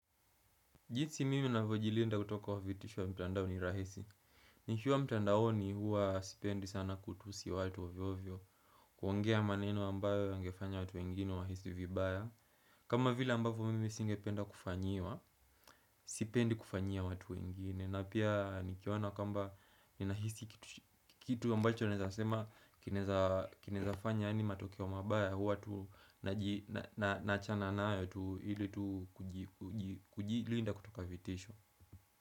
Jinsi mimi navojilinda kutoka wa vitishwo mtandao ni rahisi nikiwa mtandaoni huwa sipendi sana kutusi watu ovyovyo kuongea maneno ambayo wangefanya watu wengine wahisi vibaya kama vila ambavo mimi singependa kufanyiwa Sipendi kufanyia watu wengine na pia nikiona kamba ninahisi ki kitu ambacho naweza sema kinaweza Kinezafanya yaani matokeo mabaya huwa tu naji na naachana nae tu ili tu kuji kuji kujilinda kutoka vitisho.